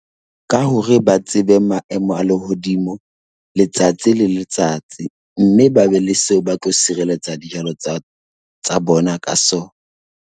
Ka hore ba tsebe maemo a lehodimo letsatsi le letsatsi mme ba be le seo ba tlo sirelletsa dijalo tsa bona ka sona.